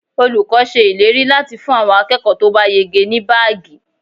Olùkọ́ ṣe ìlérí láti fún àwọn akẹ́kọ̀ọ́ to ba yege ní baagi.